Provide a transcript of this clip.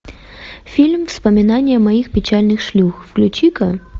фильм вспоминая моих печальных шлюх включи ка